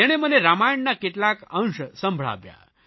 તેણે મને રામાયણના કેટલાક અંશ સંભળાવ્યા